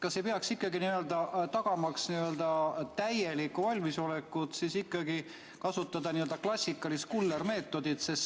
Kas ei peaks ikkagi, tagamaks täielikku valmisolekut, kasutama n‑ö klassikalist kullermeetodit?